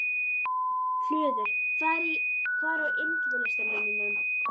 Hlöður, hvað er á innkaupalistanum mínum?